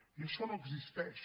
i això no existeix